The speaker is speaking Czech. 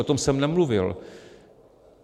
O tom jsem nemluvil.